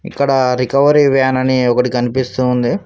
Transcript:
ఇక్కడ recovery van అని ఒకటి కనిపిస్తూ ఉంది.